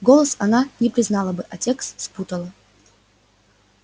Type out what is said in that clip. голос она не признала бы а текст спутала